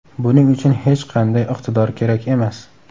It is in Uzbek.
Buning uchun hech qanday iqtidor kerak emas.